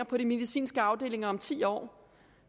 på de medicinske afdelinger om ti år